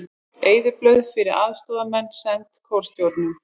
Eyðublöð fyrir aðstoðarmenn send kjörstjórnum